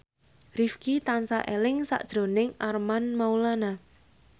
Rifqi tansah eling sakjroning Armand Maulana